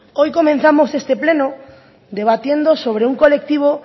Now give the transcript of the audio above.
hoy comenzamos este pleno debatiendo sobre un colectivo